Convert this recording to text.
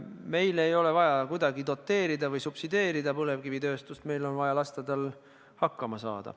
Meil ei ole vaja kuidagi doteerida või subsideerida põlevkivitööstust, meil on vaja lasta tal hakkama saada.